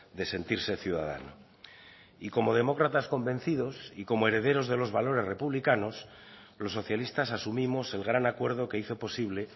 de sentirse ciudadano y como demócratas convencidos y como herederos de los valores republicanos los socialistas asumimos el gran acuerdo que hizo posible